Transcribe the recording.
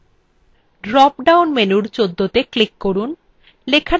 drop down menu ১৪ত়ে click করুন